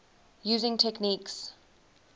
using techniques